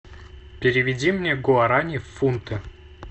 переведи мне гуарани в фунты